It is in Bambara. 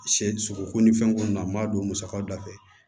Sɛ sogoko ni fɛnko na n b'a don musakaw da fɛ